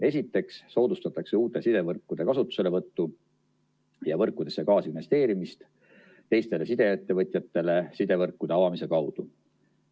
Esiteks soodustatakse uute sidevõrkude kasutuselevõttu ja võrkudesse kaasinvesteerimist teistele sideettevõtjatele sidevõrkude avamise kaudu.